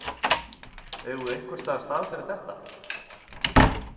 Eigum við einhvers staðar stað fyrir þetta?